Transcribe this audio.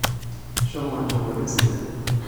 shomo inchopoyu esidai